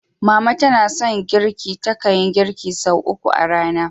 Mama tana son girki, takan yi girki sau uku a rana.